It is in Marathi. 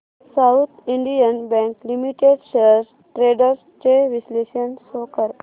south Indian Bank Limited shares trends चे विश्लेषण शो कर